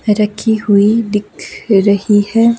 रखी हुई दिख रही है।